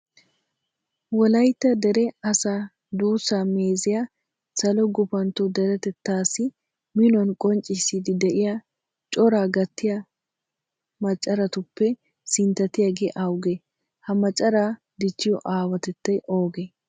Wolaytta dere asaa duussaa meeziya salo gufantto deretettaassi minuwan qonccissiiddi de'iya coraa gattiya macaratuppe sinttatiyagee awugee? Ha macaraa dichchiyo aawatettay oogee?